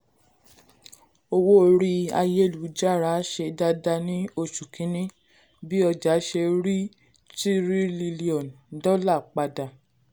owó orí ayélu-jára ṣe dáadáa ní oṣù kìnni bi oja se ri tírílíọ̀nù dọ́là pada.